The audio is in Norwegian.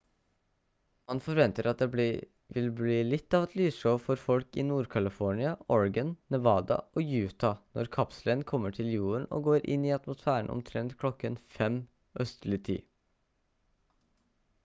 man forventer at det blir litt av et lysshow for folk i nord-california oregon nevada og utah når kapselen kommer til jorden og går inn i atmosfæren omtrent kl. 5:00 østlig tid